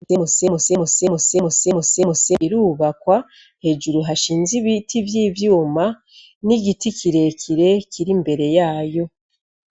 Mu semu se mu se mu se mu se mu se mu se birubakwa hejuru hashinze ibiti vy'ivyuma n'igiti kirekire kiri imbere yayo.